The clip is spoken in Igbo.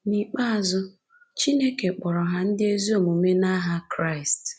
N’ikpeazụ, Chineke kpọrọ ha ndị ezi omume n’aha Kraịst